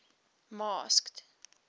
masked